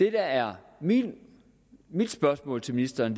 er mit spørgsmål til ministeren